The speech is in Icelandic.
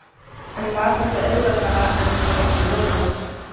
En var þetta auðveldara en hann átti von á?